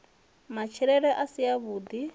matshilele a si a vhui